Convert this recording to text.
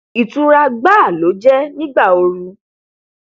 ìtura gbáà ló jẹ nígbà ooru